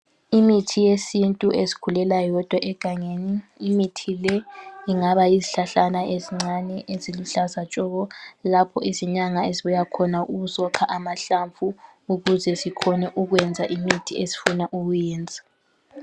Imithi yesintu ezikhulela yodwa egangeni . Imithi le ingaba yizihlahlana ezincane eziluhlaza tshoko. Lapho izinyanga ezibuya khona ukuzokha amahlamvu okuze zikhone ukwenza imithi ezifuna ukuyenza.